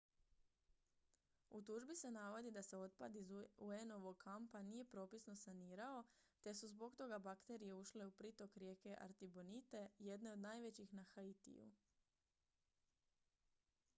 u tužbi se navodi da se otpad iz un-ovog kampa nije propisno sanirao te su zbog toga bakterije ušle u pritok rijeke artibonite jedne od najvećih na haitiju